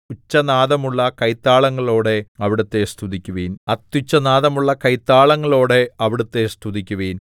ഉച്ചനാദമുള്ള കൈത്താളങ്ങളോടെ അവിടുത്തെ സ്തുതിക്കുവിൻ അത്യുച്ചനാദമുള്ള കൈത്താളങ്ങളോടെ അവിടുത്തെ സ്തുതിക്കുവിൻ